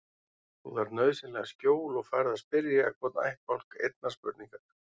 Þú þarft nauðsynlega skjól og færð að spyrja hvorn ættbálk einnar spurningar.